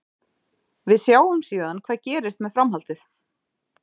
Við sjáum síðan hvað gerist með framhaldið.